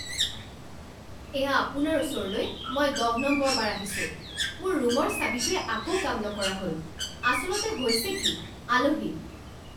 এয়া আপোনাৰ ওচৰলৈ মই দহ নম্বৰবাৰ আহিছোঁ। মোৰ ৰুমৰ চাবিটোৱে আকৌ কাম নকৰা হ'ল। আচলতে হৈছে কি? আলহী